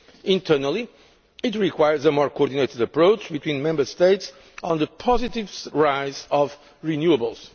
Internally, it requires a more coordinated approach between Member States on the positive rise of renewables.